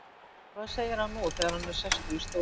En hvað segir hann nú þegar hann er sestur í stólinn?